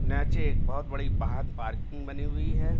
नैचे बोहत बड़ी बाहद पार्किंग बनी हुई है।